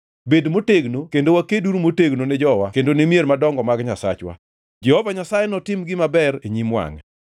Bed motegno kendo wakeduru motegno ne jowa kendo ni mier madongo mag Nyasachwa. Jehova Nyasaye notim gima ber e nyim wangʼe.”